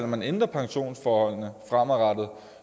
man ændrer pensionsforholdene fremadrettet